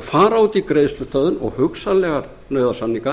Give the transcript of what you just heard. og fara út í greiðslustöðvun og hugsanlega nauðasamninga